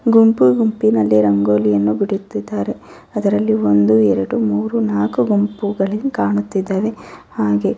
ಗುಂಪು ಗುಂಪಿನಲ್ಲಿ ರಂಗೋಲಿಯನ್ನು ಬಿಡುತ್ತಿದಾರೆ ಅದರಲ್ಲಿ ಒಂದು ಎರಡು ಮೂರೂ ನಾಕು ಗುಂಪುಗಳು ಕಾಣುತ್ತಿದ್ದವೇ ಹಾಗು --